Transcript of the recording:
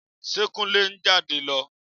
Ṣe Kúnlé ń jáde lọ?